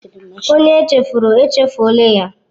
Onye echefuru, echefuọla ya.